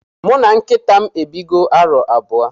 Muna nkitam ebigo arọ abụọ.